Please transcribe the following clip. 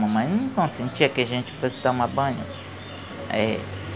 Mamãe não consentia que a gente fosse tomar banho. Aí